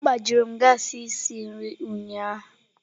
Agbajuru m gassi isi nri ụnyaahụ.